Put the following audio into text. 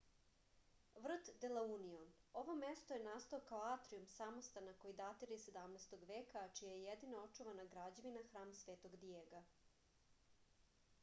vrt de la union ovo mesto je nastao kao atrijum samostana koji datira iz 17. veka a čija je jedina očuvana građevina hram svetog dijega